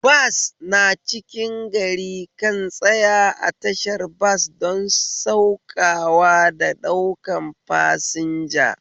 Bas na cikin gari kan tsaya a tashar bas don saukawa da ɗaukan fasinja